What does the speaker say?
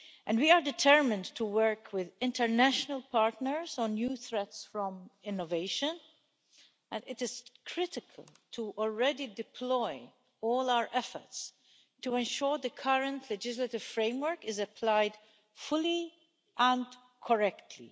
We are determined to work with international partners on new threats from innovation and it is critical to already deploy all our efforts to ensure the current legislative framework is applied fully, and correctly.